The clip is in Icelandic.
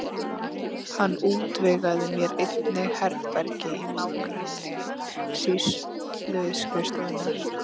Hann útvegaði mér einnig herbergi í nágrenni sýsluskrifstofunnar.